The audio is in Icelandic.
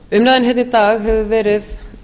umræðan hérna í dag hefur verið